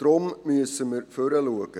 Deshalb müssen wir nach vorne schauen.